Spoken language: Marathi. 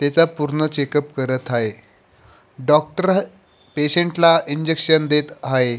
त्याचा पूर्ण चेक अप करत आहे डॉक्टर पेशंट ला इंजेक्शन देत आहे.